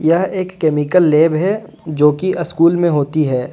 यह एक chemical lab है जो कि स्कूल में होती है।